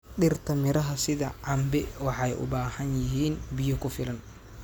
Dhirta miraha sida cambe waxay u baahan yihiin biyo ku filan.